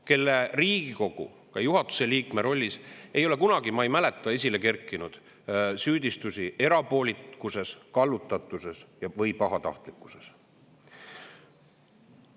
Tema Riigikogu juhatuse liikme rolli kohta ei ole kunagi, ma ei mäleta, esile kerkinud süüdistusi erapoolikuses, kallutatuses või pahatahtlikkuses.